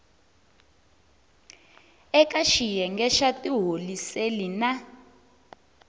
eka xiyenge xa tiholiseli na